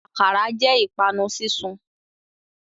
Akara jẹ ipanu sisun